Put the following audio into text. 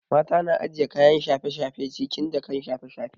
Mata na ajiye kayan shafe shafe cikin jakan shafe shafe